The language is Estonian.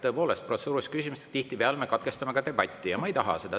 Tõepoolest, protseduuriliste küsimustega me tihtipeale katkestame debati ja ma ei taha seda.